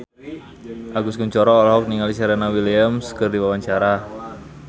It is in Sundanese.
Agus Kuncoro olohok ningali Serena Williams keur diwawancara